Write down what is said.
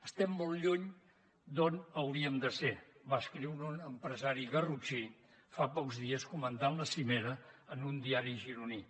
estem molt lluny d’on hauríem de ser va escriure un empresari garrotxí fa pocs dies comentant la cimera en un diari gironí